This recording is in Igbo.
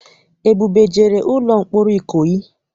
Ebube ejere n'ụlọ mkpọrọ Ikoyi?